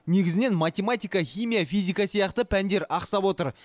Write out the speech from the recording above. негізінен математика химия физика сияқты пәндер ақсап отыр